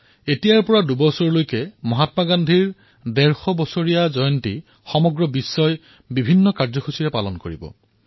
এতিয়াৰে পৰা দুবছৰ পৰ্যন্ত আমি মহাত্মা গান্ধীৰ ১৫০তম জয়ন্তীৰ নিমিত্তে বিশ্বজুৰি বিভিন্ন কাৰ্যসূচী গ্ৰহণ কৰিম